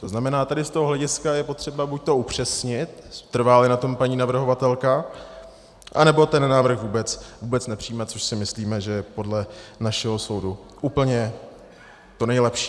To znamená, tady z toho hlediska je potřeba buď upřesnit, trvá-li na tom paní navrhovatelka, anebo ten návrh vůbec nepřijímat, což si myslíme, že je podle našeho soudu úplně to nejlepší.